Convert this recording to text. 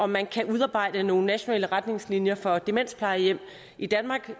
man kan udarbejde nogle nationale retningslinjer for demensplejehjem i danmark